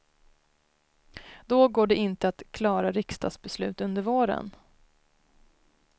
Då går det inte att klara riksdagsbeslut under våren.